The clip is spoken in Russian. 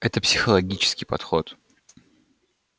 это психологический подход